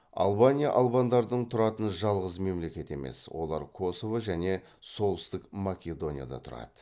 албания албандардың тұратын жалғыз мемлекет емес олар косово және солтүстік македонияда тұрады